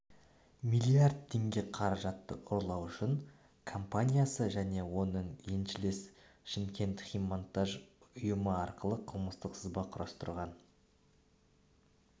миллиард теңге қаражатты ұрлау үшін компаниясы және оның еншілес шымкентхиммонтаж ұйымы арқылы қылмыстық сызба құрастырған